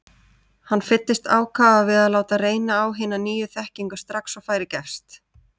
Hann fyllist ákafa við að láta reyna á hina nýju þekkingu strax og færi gefst.